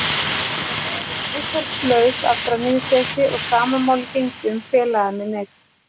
Ég var nefnilega orðinn viðþolslaus af brennivínsleysi og sama máli gegndi um félaga minn einn.